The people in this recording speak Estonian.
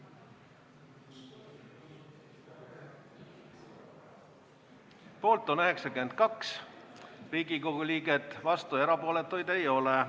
Hääletustulemused Poolt on 92 Riigikogu liiget, vastuolijaid ja erapooletuid ei ole.